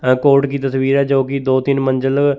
high court की तस्वीर है जो कि दो तीन मंजिल--